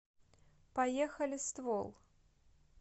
поехали ствол